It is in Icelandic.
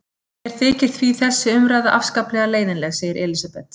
Mér þykir því þessi umræða afskaplega leiðinleg, segir Elísabet.